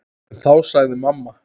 En þá sagði mamma